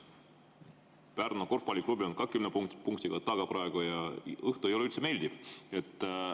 Pärnu korvpalliklubi on ka kümne punktiga taga praegu ja õhtu ei ole üldse meeldiv.